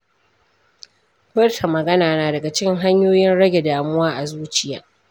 Furta magana na daga cikin hanyoyin rage damuwa a zuciya.